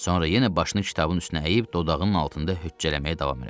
Sonra yenə başını kitabın üstünə əyib dodağının altında hüccələməyə davam elədi.